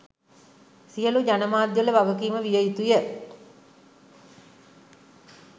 සියලු ජනමාධ්‍යවල වගකීම විය යුතුය